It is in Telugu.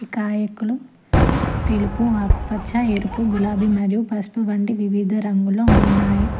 నాయకులు తెలుపు ఆకుపచ్చ ఎరుపు గులాబీ మరియు పసుపువంటి వివిధ రంగుల ఉన్నాయి.